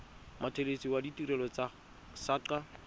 mothelesi wa ditirelo tsa saqa